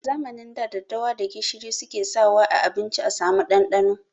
A zamanin da, daddawa da gishiri suke saka wa a abinci a samu ɗanɗano.